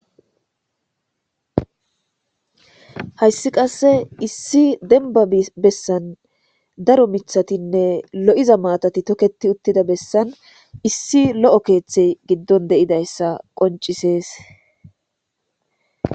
hayssi qasse issi denba bessan daro mithatinne lo7iza maatati toketi uttida bessan issi lo7o keeththey giddon deidayssa qoncisees